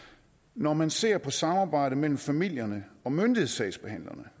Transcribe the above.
når man ser på samarbejdet mellem familierne og myndighedssagsbehandlerne